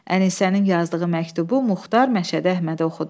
Ənisənin yazdığı məktubu Muxtar Məşədi Əhmədə oxudu.